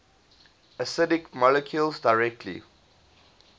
acidic molecules directly